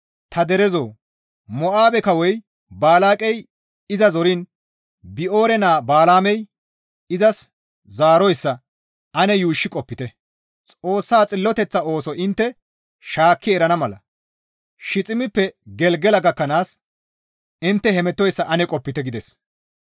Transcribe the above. Ta derezoo! Mo7aabe kawoy Balaaqey iza zoriin Bi7oore naa Balaamey izas zaaroyssa ane yuushshi qopite; Xoossa xilloteththa ooso intte shaakki erana mala, Shiiximeppe Gelgela gakkanaas intte hemettoyssa ane qopite» gides.